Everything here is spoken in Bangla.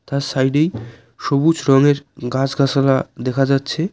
তার সাইডেই সবুজ রঙের গাছ গাছালা দেখা যাচ্ছে।